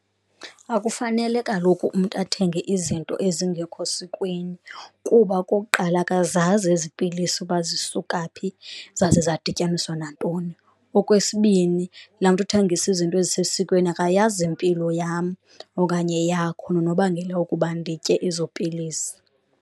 Akufanele kaloku umntu athenge izinto ezingekho sikweni kuba okokuqala akazazi ezi pilisi uba zisuka phi zaze zadityaniswa nantoni, okwesibini laa mntu uthengisa izinto ezisesikweni akayazi impilo yam okanye yakho nonobangela wokuba nditye ezo pilisi.